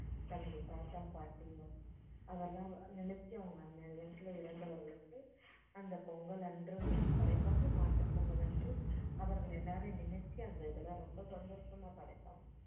தனது தாத்தா பாட்டின்னு அவங்க நினைச்சு அவங்க அன்னைய தினத்துல இறந்தவர்களுக்கு அந்த பொங்கல் அன்ரும் படைப்பாங்க மாட்டுப் பொங்கல் அன்று அவர்கள் எல்லாரையும் நினைச்சு அந்த இதெல்லாம் ரொம்ப சந்தொஷமா படைப்பாங்க